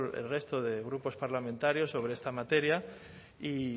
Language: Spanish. el resto de grupos parlamentarios sobre esta materia y